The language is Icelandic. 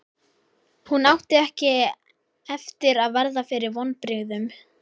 Hún átti ekki eftir að verða fyrir vonbrigðum.